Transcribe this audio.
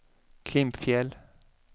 Klimpfjäll